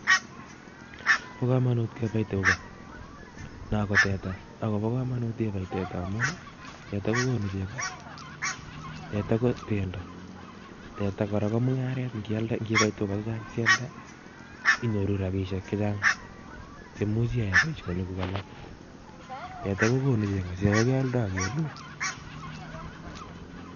Bo komonut kebai tuga. Noo ko teta, agobo komonut kebai teta amun teta kogonu chego, teta ko pendo, teta kora ko mung'aret, ng'ialde, ng'ibai tuga chechang' sialde, inyoru rabishiek chechang' che imuch iae boisonikuk. Teta kogonu chego, chego kealdai agelue